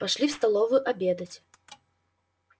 пошли в столовую обедать